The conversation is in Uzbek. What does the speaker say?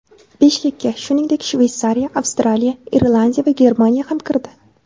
Beshlikka, shuningdek, Shveysariya, Avstraliya, Irlandiya va Germaniya ham kirdi.